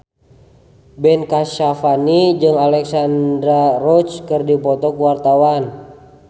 Ben Kasyafani jeung Alexandra Roach keur dipoto ku wartawan